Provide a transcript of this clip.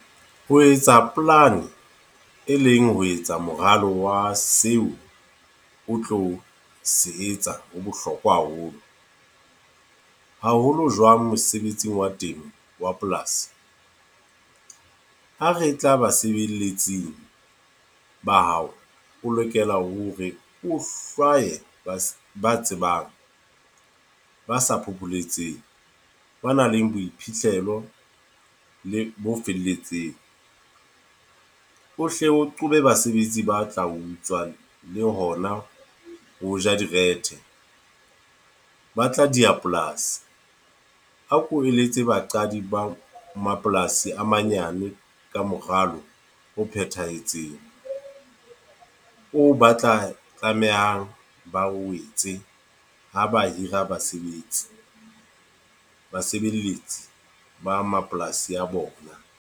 Ho etsa plan-e, e leng ho etsa moralo wa seo o tlo se etsa ho bohlokwa haholo. Haholo jwang mosebetsing wa temo wa polasi. Ha re tla basebeletsi ba hao, o lokela hore o hlwaye ba tsebang, ba sa phopholetseng, ba nang le boiphihlelo le bo felletseng. O hlo o qobe basebetsi ba tla utswa le hona ho ja dire the, ba tla di a polasi. A ko eletse baqadi ba mapolasi a manyane ka moralo ho phethahetseng. O ba tla tlamehang ba wetse ho ba hira basebetsi basebeletsi ba mapolasi a bona.